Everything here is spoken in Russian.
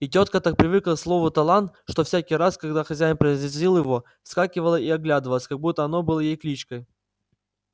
и тётка так привыкла к слову талант что всякий раз когда хозяин произносил его вскакивала и оглядывалась как будто оно было её кличкой